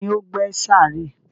Tani ó gbẹ́ sàárè?